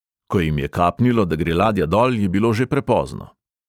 Ko jim je kapnilo, da gre ladja dol, je bilo že prepozno.